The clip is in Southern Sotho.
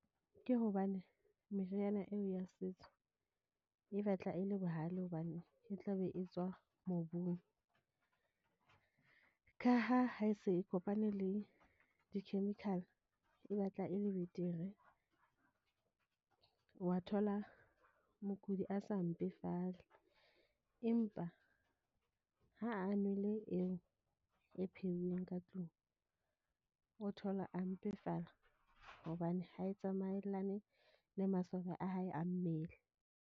Ke hobane meriana eo ya setso e batla e le bohlale. Hobane e tla be e tswa mobung, ka ha ha e se e kopane le di-chemical e batla e le betere. Wa thola mokudi a sa mpefale. Empa ha a nwele eo e pheuweng ka tlung, o thola a mpefala hobane ha e tsamaellane le masole a hae a mmele.